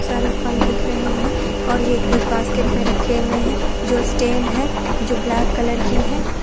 इसमें बहुत सारे फल है और यह बॉस्केट में रखें हुए हैं| इसमें जो स्टैंड है जो ब्लैक कलर की है।